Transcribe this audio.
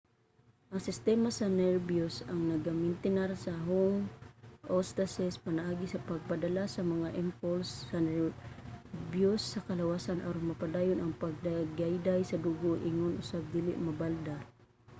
ang sistema sa nerbiyos ang nagamintinar sa homeostasis pinaagi sa pagpadala sa mga impulse sa nerbiyos sa kalawasan aron mapadayon ang pagdagayday sa dugo ingon usab dili mabalda